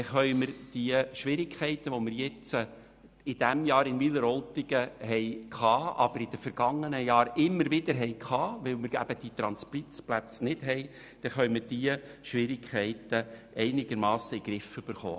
Dadurch können wir die Schwierigkeiten, wie wir sie in diesem Jahr in Wileroltigen gehabt und in vergangenen Jahren immer wieder wegen nicht vorhandener Transitplätze hatten, einigermassen in den Griff bekommen.